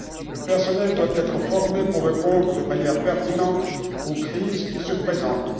Le personnel doit être formé pour répondre de manière pertinente aux crises qui se présentent.